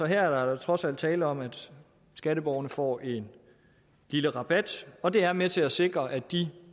her er der da trods alt tale om at skatteborgerne får en lille rabat og det er med til at sikre at de